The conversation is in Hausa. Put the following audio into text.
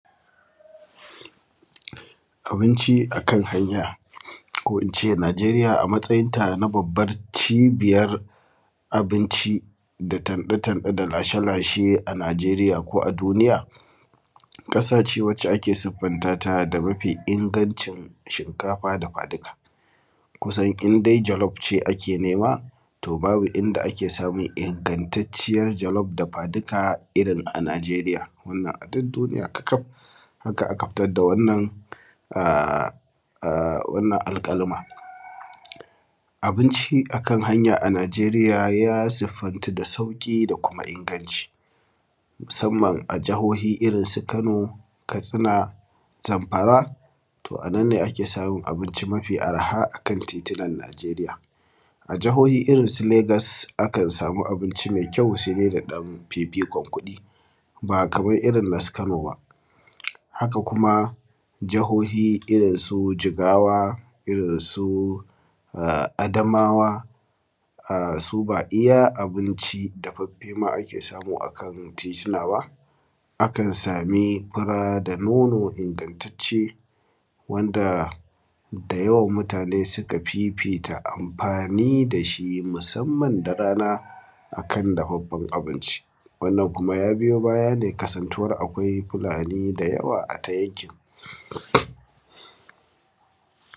Abinci a kan hanya, ko in ce Najeriya a matsayin ta na babbar cibiyar abinci, da tanɗe-tanɗe da lashe-lashe a Najeriya ko a duniya, ƙasa ce wacce ake siffanta ta da mafi ingancin shinkafa dafa-dika. Kusan in de jalof ce ake nema, to babu inda ake samun ingantacciyar jalof dafa-dika irin a Najeriya, wannan a dud duniya kakaf, haka aka fitar na wannan aa; aa wannan alƙaluma Abinci a kan hanya a Najeriya ya siffantu da sauƙi da kuma inganci, musamman a jahohi irin su Kano, Katsina, Zamfara, to a nan ne ake samun abinci mafi arha a kan titinan Najeriya. A jahohi irin su Legas, akan sami abinci me kyau, se de da ɗan fifikon kuɗi, ba kaman irin na su Kano ba. Haka kuma, jahohi irin su Jigawa, irin su aa Adamawa, aa su ba iya abinci dafaffe ma ake samu a kan titinan ba, akan sami fura da nono ingantacce, wanda da yawan mutane suka fifita amfani da shi musamman da rana, a kan dafaffan abinci. Wannan kuma ya biyo baya ne kasantuwar akwai Fulani da yawa a ta yankin.